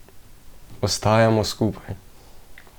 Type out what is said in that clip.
Ostajamo skupaj.